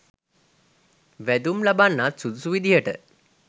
වැදුම් ලබන්නත් සුදුසු විදියට